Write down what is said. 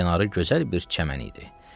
Bu çayın kənarı gözəl bir çəmən idi.